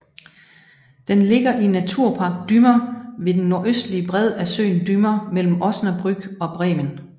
Den ligger i Naturpark Dümmer ved den nordøstlige bred af søen Dümmer mellem Osnabrück og Bremen